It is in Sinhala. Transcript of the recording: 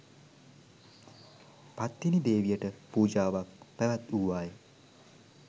පත්තිනි දේවියට පූජාවක් පැවැත්වූවා ය.